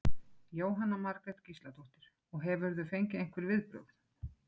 Jóhanna Margrét Gísladóttir: Og hefurðu fengið einhver viðbrögð?